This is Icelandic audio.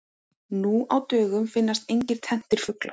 Nú á dögum finnast engir tenntir fuglar.